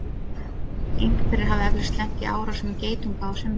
einhverjir hafa eflaust lent í árásum geitunga á sumrin